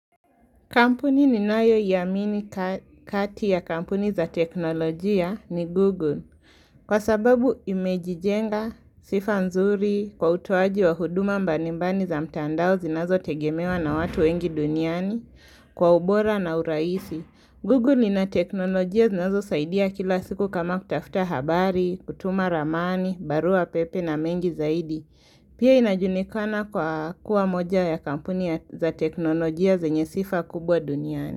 Kampuni ni nayo iamini kati ya kampuni za teknolojia ni Google. Kwa sababu imejijenga, sifa nzuri, kwa utoaji wa huduma mbalimbali za mtandao zinazo tegemewa na watu wengi duniani, kwa ubora na urahisi. Google lina teknolojia zinazo saidia kila siku kama kutafuta habari, kutuma ramani, barua pepe na mengi zaidi. Pia inajulikana kwa kuwa moja ya kampuni ya za teknolojia zenye sifa kubwa duniani.